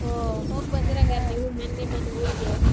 ಓ ಹಂಗಾರ ನೀವು ಮನ್ನೆ ಮನ್ನೆ ಊರಿಗೆ?